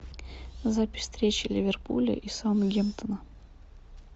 запись встречи ливерпуля и саутгемптона